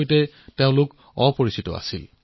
অৰ্থাৎ তেওঁলোক সাধুৰ সৈতে পৰিচিত নাছিল